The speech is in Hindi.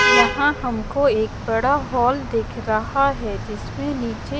यहां हमको एक बड़ा हॉल दिख रहा है जिसमें नीचे--